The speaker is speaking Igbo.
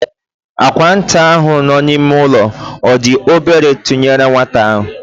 Àkwà nwata ahụ nọ n'ime ụlọ, ọ dị obere tụnyere nwata ahụ?